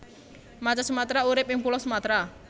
Macan Sumatra urip ing Pulo Sumatra